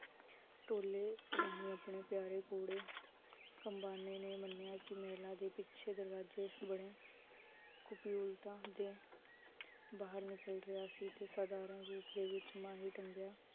ਤੋਲੇ ਰਾਹੀਂ ਆਪਣੇ ਪਿਆਰ , ਕਮ੍ਬਾਨੇ ਨੇ ਮਨਿਆ ਕਿ ਮਹਿਲਾ ਦੇ ਪਿਛੇ ਦਰਵਾਜੇ ਬਣੇ ਕੁਪਯੂਲਤਾ ਦੇ ਬਾਹਰ ਨਿਕਲ ਰਿਹਾ ਸੀ ਤੇ ਸਾਧਾਰਨ ਰੂਪ ਦੇ ਵਿਚ ਮਾਹੀ ਟੰਗਿਆ